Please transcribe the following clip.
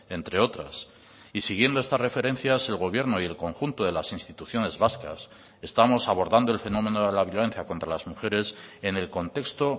entre otras y siguiendo estas referencias el gobierno y el conjunto de las instituciones vascas estamos abordando el fenómeno de la violencia contra las mujeres en el contexto